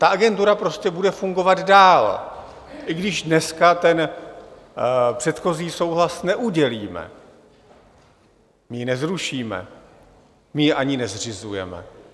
Ta Agentura prostě bude fungovat dál, i když dneska ten předchozí souhlas neudělíme, my ji nezrušíme, my ji ani nezřizujeme.